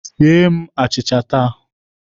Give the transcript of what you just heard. sie m achịcha taa!